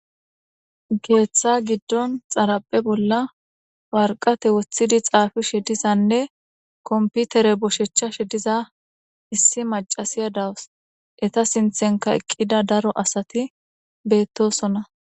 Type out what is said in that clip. Geeththa giddon xaraphe bolla warqate woththidi xaafi shedizanne komputere boshechcha shediza issi macasiya dawus eta sinthenka eqqida daro asati bettosona.